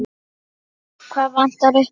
Hvað vantaði upp á?